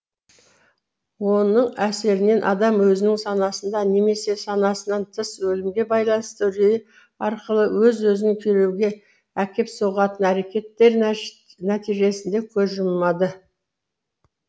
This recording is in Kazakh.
оның әсерінен адам өзінің санасында немесе санасынан тыс өлімге байланысты үрейі арқылы өз өзін күйреуге әкеп соғатын әрекеттер нәтижесінде көз жұмады